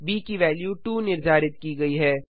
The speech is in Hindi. ब की वेल्यू 2 निर्धारित की गयी है